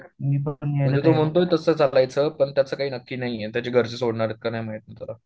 म्हणजे तो म्हणतोय तसं चालायचं पण त्याचं काय नक्की नाहीये त्याचे घरचे सोडनार हेत का नाही माहित त्याला